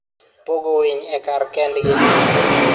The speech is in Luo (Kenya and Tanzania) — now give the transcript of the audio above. pogo winy e kar kendgi.